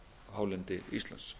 hálendi íslands